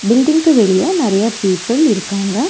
பில்டிங்க்கு வெளிய நெறையா பீப்பில் இருக்காங்க.